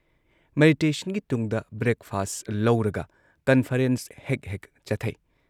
ꯃꯦꯗꯤꯇꯦꯁꯟꯒꯤ ꯇꯨꯡꯗ breakfast ꯂꯧꯔꯒ conference ꯍꯦꯛ ꯍꯦꯛ ꯆꯠꯊꯩ ꯫